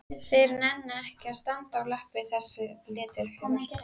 Þeir nenna ekki að standa á lappir þessir letihaugar!